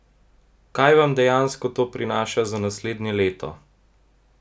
Kaj vam dejansko to prinaša za naslednje leto?